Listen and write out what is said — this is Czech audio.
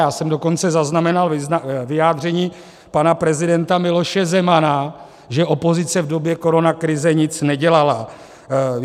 Já jsem dokonce zaznamenal vyjádření pana prezidenta Miloše Zemana, že opozice v době koronakrize nic nedělala.